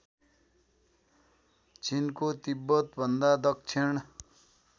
चिनको तिब्बतभन्दा दक्षिण